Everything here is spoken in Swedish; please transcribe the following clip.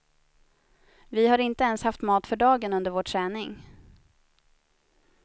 Vi har inte ens haft mat för dagen under vår träning.